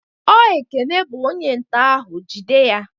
Ọ Ekene bụ onye nto ahụ, jide ya!